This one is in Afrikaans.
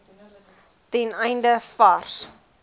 ten einde vars